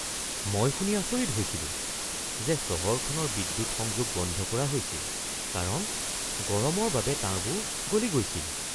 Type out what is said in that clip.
মই শুনি আচৰিত হৈছিলো যে চহৰখনৰ বিদ্যুৎ সংযোগ বন্ধ কৰা হৈছিল কাৰণ গৰমৰ বাবে তাঁৰবোৰ গলি গৈছিল!